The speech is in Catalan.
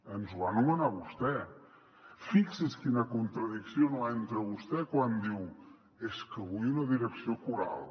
ens el va nomenar vostè fixi’s en quina contradicció entra vostè quan diu és que vull una direcció coral